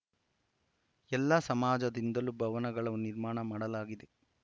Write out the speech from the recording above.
ಎಲ್ಲಾ ಸಮಾಜದಿಂದಲೂ ಭವನಗಳ ನಿರ್ಮಾಣ ಮಾಡಲಾಗಿದೆ